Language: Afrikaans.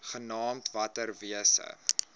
genaamd water wise